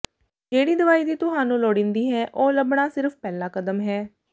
ਜਿਹੜੀ ਦਵਾਈ ਦੀ ਤੁਹਾਨੂੰ ਲੋੜੀਂਦੀ ਹੈ ਉਹ ਲੱਭਣਾ ਸਿਰਫ ਪਹਿਲਾ ਕਦਮ ਹੈ